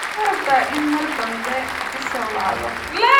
Ma rabtaa in aad mar dambe i soo wacdo?